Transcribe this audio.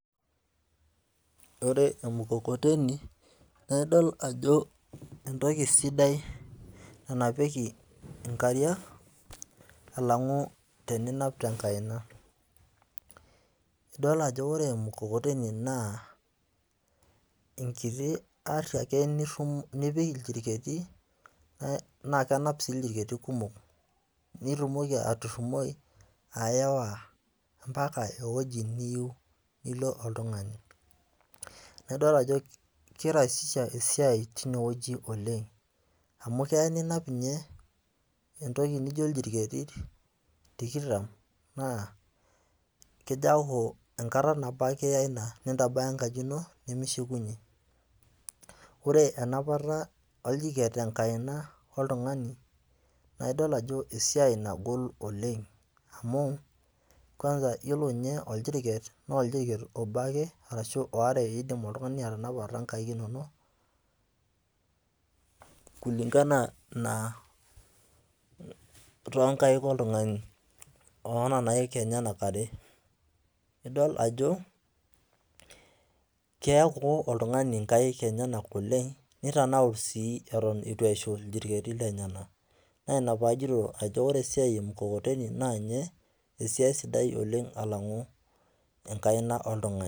Ore emukokoteni, naa idol ajo entoki idai nanapieki inkariak, alang'u teninap te enkaina. Idol ajo ore emukokoteni naa, enkiti ari ake nipik ilchirketi, naa kenap sii ilchirketi kumok, nitumoki aturumoi ayawa ompaka ewueji niyou nilo oltung'ani. Nidol ajo keiraisisha esiai teine wueji oleng', amu eya ninap ninye entoki naijo iljirketi tikitam naa kajo enkata nabo ake iiya ina nintabaya enkaji ino, nemishukunye. Ore enapata oljiket tenkaina oltung'ani, naaidol ajo esiai nagol oleng' amu, iyiolo ninye ajo ole oljirket, naa oljirket obo ake ashu aare indim oltung'ani atanapa toonkaik ino ake kulingana na toonkaik oltung'ani oo nena aik enyena are. Idol ajo keek oltung'ani inkaik enyena oleng', neitanaur sii orony ewuen eitu eishu iljirketi lenyena. Naa ina paajoito ore esiai e mukokoteni naa ninye esiai sidai alang'u enkaina oltung'ani.